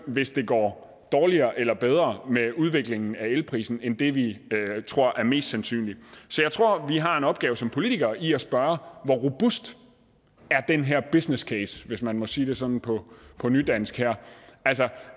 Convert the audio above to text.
hvis det går dårligere eller bedre med udviklingen af elprisen end det vi tror er mest sandsynligt så jeg tror at vi har en opgave som politikere i at spørge hvor robust den her business case er hvis man må sige det sådan på nydansk her altså